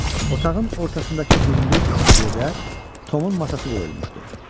Otağın ortasındakı hündür yerdə Tomun masası qoyulmuşdu.